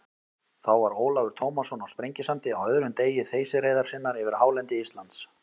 Þá var Ólafur Tómasson á Sprengisandi á öðrum degi þeysireiðar sinnar yfir hálendi Íslands.